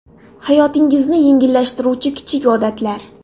Hayotingizni yengillashtiruvchi kichik odatlar.